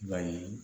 I b'a ye